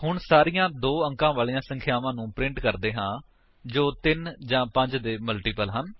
ਹੁਣ ਸਾਰੀਆਂ 2 ਅੰਕਾਂ ਵਾਲੀਆਂ ਸੰਖਿਆਵਾਂ ਨੂੰ ਪ੍ਰਿੰਟ ਕਰਦੇ ਹਾਂ ਜੋ 3 ਜਾਂ 5 ਦੇ ਮਲਟੀਪਲ ਹਨ